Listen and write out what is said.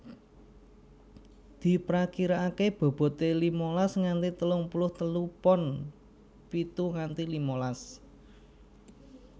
Diprakiraakè bobote limalas nganti telung puluh telu pon pitu nganti limalas